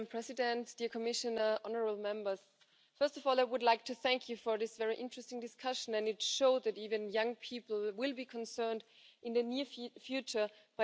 Präsidentin, verehrte